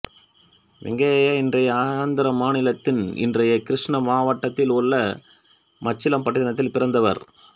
வெங்கைய்யா இன்றைய ஆந்திர மாநிலத்தின் இன்றைய கிருஷ்ணா மாவட்டத்தில் உள்ள மச்சிலிப்பட்டினத்தில் பிறந்தவர்